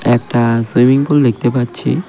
একটা swimming pool দেখতে পাচ্ছি .